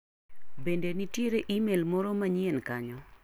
Bende nitier imel moro manyien kanyo?